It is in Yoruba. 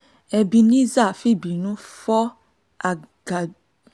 ebenezer fìbínú fọ́